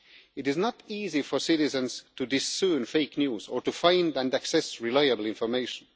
It is not easy for citizens to discern fake news or to find and access reliable information.